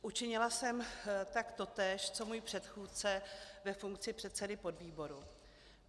Učinila jsem tak totéž co můj předchůdce ve funkci předsedy podvýboru.